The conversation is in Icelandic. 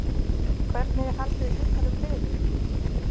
Hvernig er haldið utan um liðið?